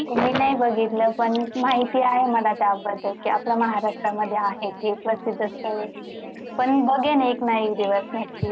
मी नाही बघितलं पण महिती आहे त्याबद्दल ते आपल्या महाराष्ट्रामध्ये आहे प्रसिद्ध पण बघेन एकना एक दिवस नक्की